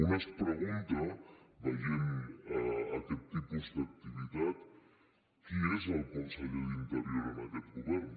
un es pregunta veient aquest tipus d’activitat qui és el conseller d’interior en aquest govern